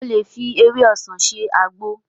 O lè fi ewé ọsàn ṣe àgbo